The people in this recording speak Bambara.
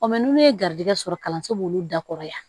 n'u ye garijigɛ sɔrɔ kalanso b'olu dakɔrɔ yan